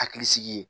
Hakili sigi